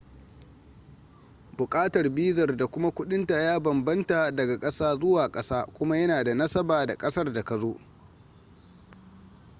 bukatar bizar da kuma kudinta ya banbamta daga kasa zuwa kasa kuma yana da nasaba da kasar da ka zo